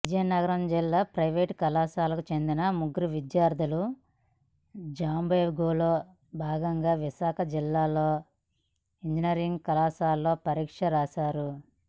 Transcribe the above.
విజయనగరం జిల్లా ప్రైవేటు కళాశాలకు చెందిన ముగ్గురు విద్యార్థులు జంబ్లింగ్లో భాగంగా విశాఖ జిల్లాలోని ఇంజినీరింగ్ కళాశాలలో పరీక్షలు రాశారు